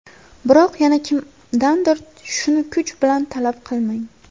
Biroq yana kimdandir shuni kuch bilan talab qilmang.